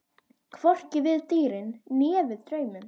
Hvorki við dýrin né við drauminn.